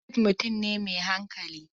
Habib mutum ne mai hankali.